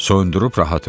Soyundürüb rahat elə.